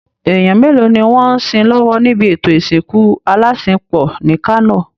Èèyàn mélòó ni wọ́n ń sin lọ́wọ́ nibi ètò ìsìnkú alásinpọ̀ ní Kano?